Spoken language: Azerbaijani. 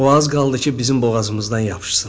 O az qaldı ki, bizim boğazımızdan yapışsın.